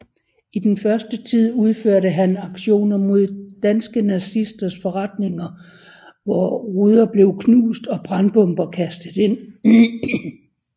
I den første tid udførte han aktioner mod danske nazisters forretninger hvor ruder blev knust og brandbomber kastet ind